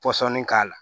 Pɔsɔnni k'a la